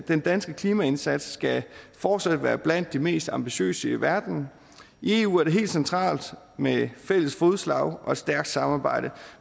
den danske klimaindsats skal fortsat være blandt de mest ambitiøse i verden i eu er det helt centralt med et fælles fodslag og et stærkt samarbejde